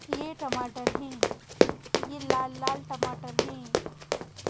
यह टमाटर हैं यह लाल लाल टमाटर हैं।